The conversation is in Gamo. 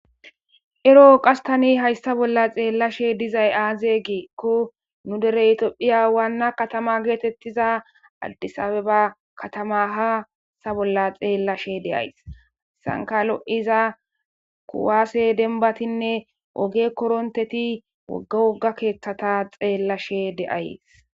Ero qasi tani hayssa bolla xellashe dizayi azze gikko nu dere tophphiya wanna katama gettetiza addise abbaba katama ha bolla xellashe de'aiysi izankka lo'iza kuwase demmbatinne ogge koronteti woga woga keththata xellashe de'ayissi.